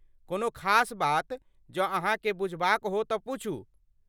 कोनो खास बात जँ अहाँके बुझबाक हो तँ पूछू?